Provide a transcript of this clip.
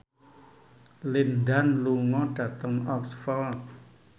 Lin Dan lunga dhateng Oxford